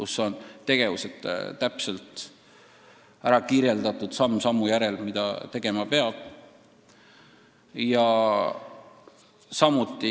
Seal on tegevused täpselt kirjas, samm sammu järel, mida tegema peab.